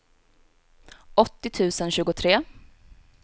åttio tusen tjugotre